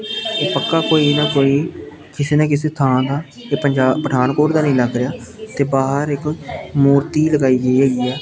ਇਹ ਪੱਕਾ ਕੋਈ ਨਾ ਕੋਈ ਕਿਸੇ ਨਾ ਕਿਸੇ ਥਾਂ ਦਾ ਇਹ ਪੰਜਾ ਪਠਾਨਕੋਟ ਦਾ ਨੀ ਲੱਗ ਰਿਹਾ ਤੇ ਬਾਹਰ ਇੱਕ ਮੂਰਤੀ ਲਗਾਈ ਗਈ ਹੋਈ ਆ--